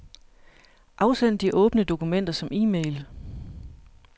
Afsend de åbne dokumenter som e-mail.